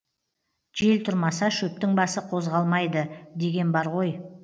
жел тұрмаса шөптің басы қозғалмайды деген бар ғой